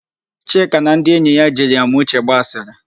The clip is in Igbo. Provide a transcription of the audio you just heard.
Chika na ndị enyi ya jiri Amauche gba asịrị.